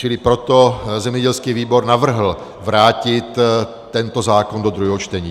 Čili proto zemědělský výbor navrhl vrátit tento zákon do druhého čtení.